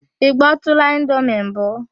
Ị gbọtụụla indomi mbụ?